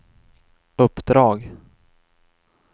uppdrag